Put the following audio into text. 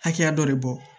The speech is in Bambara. Hakɛya dɔ de bɔ